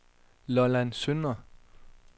Lolland Søndre